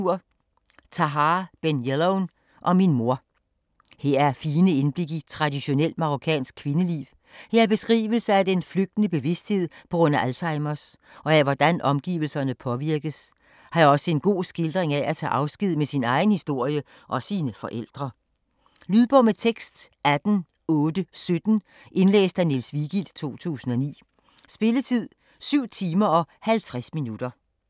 Ben Jelloun, Tahar: Om min mor Her er fine indblik i traditionelt marokkansk kvindeliv, her er beskrivelse af den flygtende bevidsthed p.gr.a. Alzheimers, og af hvordan omgivelserne påvirkes, her er også en god skildring af at tage afsked med sin egen historie og sine forældre. Lydbog med tekst 18817 Indlæst af Niels Vigild, 2009. Spilletid: 7 timer, 50 minutter.